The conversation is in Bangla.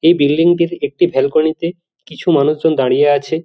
এই বিল্ডিং টির একটি ব্যালকনি তে কিছু মানুষজন দাঁড়িয়ে আছে।